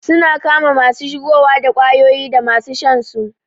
Suna kama masu shigowa da kwayoyi dama su shansu